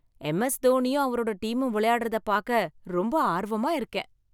MS. தோனியும் அவரோட டீமும் விளையாடறத பாக்க ரொம்ப ஆர்வமா இருக்கேன்.